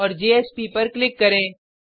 और जेएसपी पर क्लिक करें